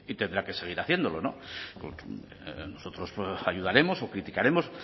tendrá que seguir haciéndolo nosotros ayudaremos o criticaremos